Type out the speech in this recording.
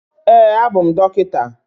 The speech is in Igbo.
Ee, abụ m dọkịta.